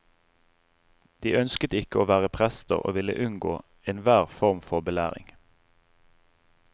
De ønsket ikke å være prester, og ville unngå en hver form for belæring.